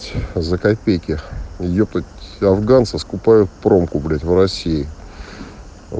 за копейки её тут афганцы скупают промку блять в россии